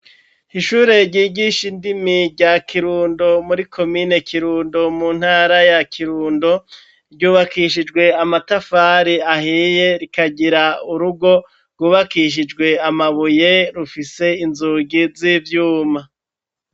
Ishure ryigisha indimi, rya Kirundo, muri komine Kirundo, mu ntara ya Kirundo; ryubakishijwe amatafari ahiye, rikagira urugo rwubakishijwe amabuye, rufise inzugi z'ivyuma.